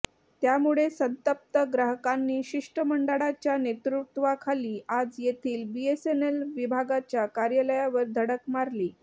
त्यामुळे संतप्त ग्राहकांनी शिष्टमंडळाच्या नेतृत्वाखाली आज येथील बीएसएनएल विभागाच्या कार्यालयावर धडक मारली